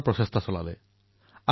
সেই দিনটো মোৰ ভালদৰেই মনত আছে